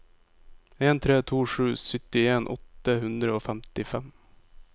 en tre to sju syttien åtte hundre og femtifem